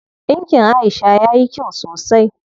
Ɗinkin Aisha yayi kyau sosai.